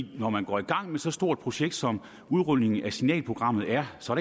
når man går i gang med så stort et projekt som udrulningen af signalprogrammet er så